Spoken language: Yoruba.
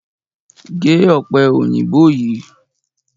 Gé ọ̀pẹ òyìnbó yìí!